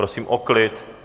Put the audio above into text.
Prosím o klid!